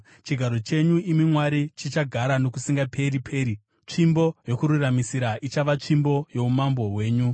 Chigaro chenyu, imi Mwari, chichagara nokusingaperi-peri; tsvimbo yokururamisira ichava tsvimbo youmambo hwenyu.